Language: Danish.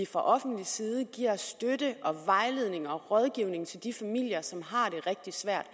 fra offentlig side giver støtte vejledning og rådgivning til de familier som har det rigtig svært